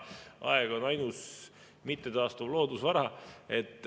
Aeg on ainus mittetaastuv loodusvara.